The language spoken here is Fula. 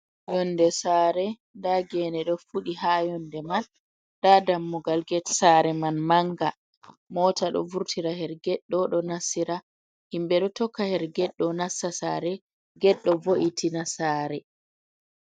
Yonde sare nda gene ɗo fuɗi ha yonde mai, nda dammugal get sare man manga, mota ɗo vurtira her get ɗo nassira himɓɓe ɗo tokka her get ɗo nassa sare get ɗo vo’itina sare.